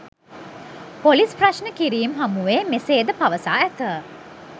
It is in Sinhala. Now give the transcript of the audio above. පොලිස් ප්‍රශ්න කිරීම් හමුවේ මෙසේද පවසා ඇත